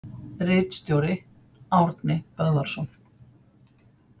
Ritstjóri: Árni Böðvarsson.